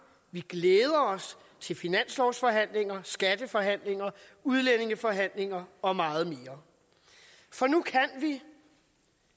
vi glæder os til finanslovsforhandlinger skatteforhandlinger udlændingeforhandlinger og meget mere for nu kan vi